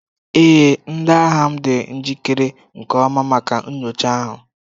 Ee, ndi agha m dị njikere nke ọma maka nyocha ahụ.